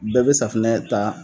Bɛɛ be safinɛ ta